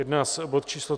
Jedná se o bod číslo